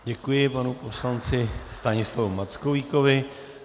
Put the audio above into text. Děkuji panu poslanci Stanislavu Mackovíkovi.